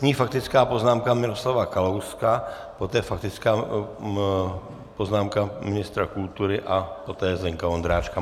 Nyní faktická poznámka Miroslava Kalouska, poté faktická poznámka ministra kultury a poté Zdeňka Ondráčka.